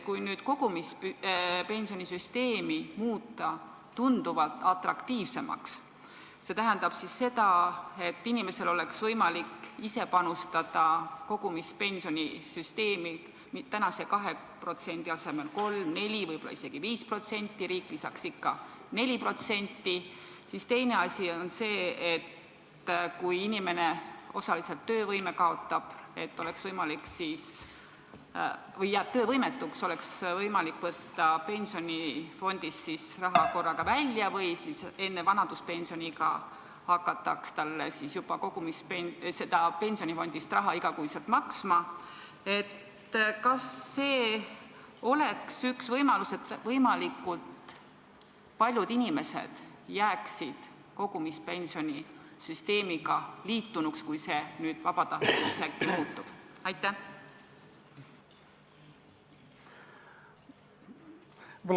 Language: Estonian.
Kui muuta kogumispensionisüsteem tunduvalt atraktiivsemaks – see tähendab, et inimesel endal oleks kogumispensionisüsteemi võimalik panustada tänase 2% asemel 3% või 4%, võib-olla isegi 5% ja riik lisaks ikkagi 4%, ning seda, et kui inimene kaotab osaliselt töövõime või jääb töövõimetuks, siis oleks tal võimalik raha pensionifondist korraga välja võtta või siis hakataks talle juba enne vanaduspensioniiga igakuiselt pensionifondist raha maksma –, siis kas see oleks üks võimalus, et võimalikult paljud inimesed jääksid kogumispensionisüsteemiga liitunuks, kui see nüüd äkki vabatahtlikuks muutub?